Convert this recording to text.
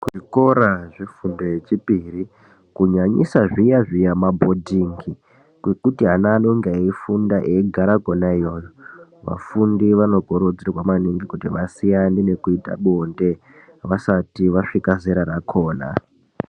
Kuzvikora zvefundo yechipiri kunyanyisa zviya zviya mabhodhingi kwekuti ana anonga eifunda eigare kona iyoyo vafundi vanokurudzwira maningi kuti vasiyane nekuita zvebonde vasati vasvika zera rakhona.